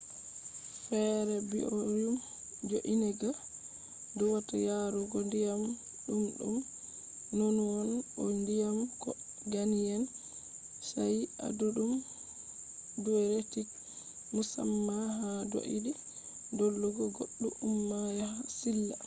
fere biorhym jo’eniga duwata yarugo ndiyam dumdum nonunon bo ndiyam ko ganyen shayi, adudum diuretic musamma ha doidi dolugo goddu umma yaha silla